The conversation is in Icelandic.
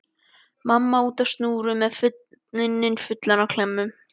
Mamma úti á snúru með munninn fullan af klemmum.